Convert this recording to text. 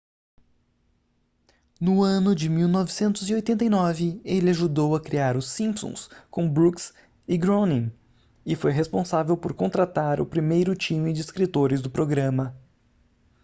no ano de 1989 ele ajudou a criar os simpsons com brooks e groening e foi responsável por contratar o primeiro time de escritores do programa